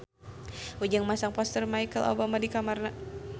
Ujang masang poster Michelle Obama di kamarna